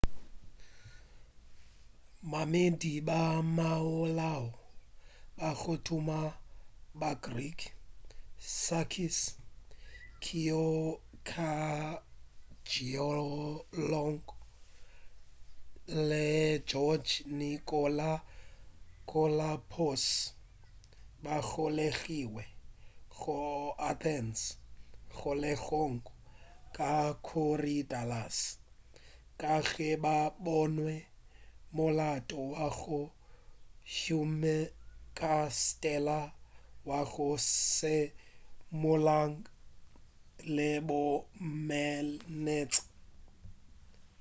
maemedi ba molao ba go tuma ba greek sakis kechagioglou le george nikolakopoulos ba golegilwe go la athens kgolegong ya korydallus ka ge ba bonwe molato wa go huma ka stela ya go se molaong le bomenetša